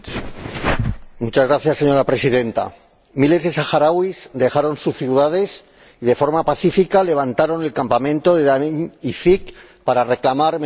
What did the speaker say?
Señora Presidenta, miles de saharauis dejaron sus ciudades y de forma pacífica levantaron el campamento de Agdeim Izik para reclamar mejores condiciones de vida.